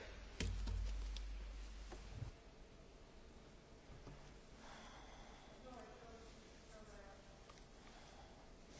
Sí, probablemente la pregunta está interpelando esos estándares mínimos que estamos